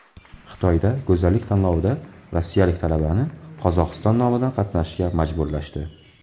Xitoydagi go‘zallik tanlovida rossiyalik talabani Qozog‘iston nomidan qatnashishga majburlashdi.